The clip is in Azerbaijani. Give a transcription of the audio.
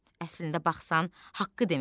Əslində baxsan, haqqı demək lazımdır.